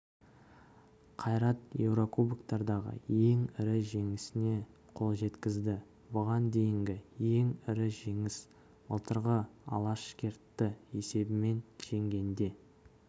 ақайрат еурокубоктардағы ең ірі жеңісіне қол жеткізді бұған дейінгі ең ірі жеңіс былтырғы алашкертті есебімен жеңгенде